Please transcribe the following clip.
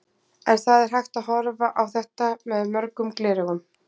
En það er hægt að horfa á þetta með mörgum gleraugum.